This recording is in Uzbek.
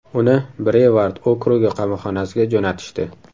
Uni Brevard okrugi qamoqxonasiga jo‘natishdi.